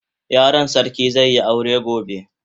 Yaron sarki zai yi aure gobe.